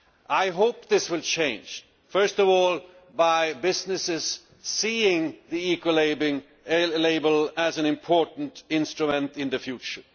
I hope this will change, first of all by businesses seeing the Ecolabel as an important instrument in the future.